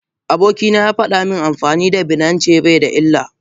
Abokina yafada min amfani da binance baida illa.